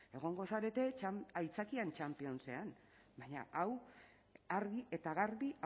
egongo zarete aitzakien championsean baina hau argi eta garbi